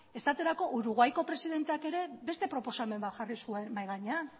esaterako uruguayko presidenteak ere beste proposamen bat jarri zuen mahai gainean